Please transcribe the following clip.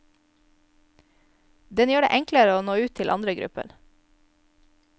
Den gjør det enklere å nå ut til andre grupper.